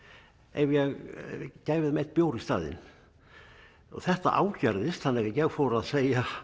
ef ég gæfi þeim einn bjór í staðinn og þetta ágerðist þannig að ég fór að segja